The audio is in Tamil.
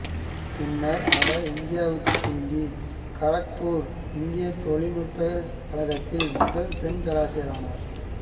பின்னர் அவர் இந்தியாவுக்குத் திரும்பி கரக்புா் இந்திய தொழில் நுட்பக் கழகத்தின் முதல் பெண் பேராசிாியரானாா்